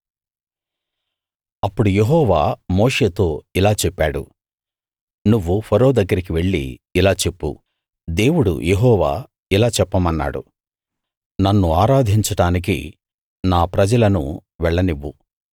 అప్పుడు యెహోవా మోషేతో ఇలా చెప్పాడు నువ్వు ఫరో దగ్గరికి వెళ్లి ఇలా చెప్పు దేవుడు యెహోవా ఇలా చెప్పమన్నాడు నన్ను ఆరాధించడానికి నా ప్రజలను వెళ్లనివ్వు